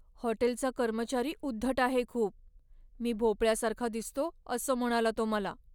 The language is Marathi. हॉटेलचा कर्मचारी उद्धट आहे खूप. मी भोपळ्यासारखा दिसतो असं म्हणाला तो मला.